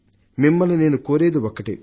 మిమ్మల్ని నేను కోరేది ఒకటే